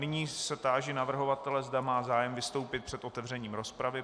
Nyní se táži navrhovatele, zda má zájem vystoupit před otevřením rozpravy.